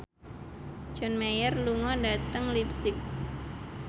John Mayer lunga dhateng leipzig